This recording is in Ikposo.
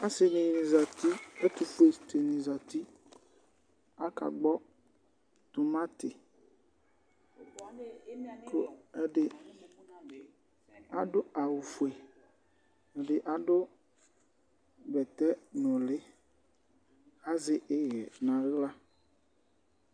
ɔsɩɖɩnɩ zati ɛtʊƒʊe tsɩnɩ zati aƙagbɔ tumati ɛɖɩ aɖʊ awʊfoɛ ɛɖɩ aɖʊ ɓɛtɛ nʊlɩ asɛihɛ naŋla